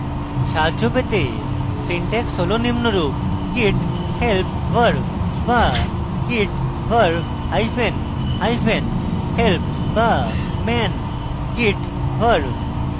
সাহায্য পেতে syntax হল নিম্নরূপ